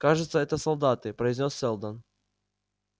кажется это солдаты произнёс сэлдон